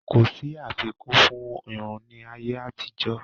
Kò sí àfikún fún Irun ní ayé àtijó